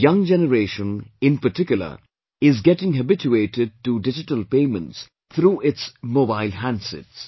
The young generation, in particular, is getting habituated to digital payments through its mobile handsets